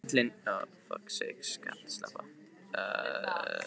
Klobbi karlinn gefur lítið fyrir áskoranir mínar.